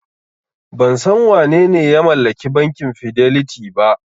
Ban san wanene ya mallaki bankin Fidelity ba.